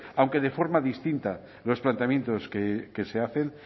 aunque de forma distinta en los planteamientos que se hacen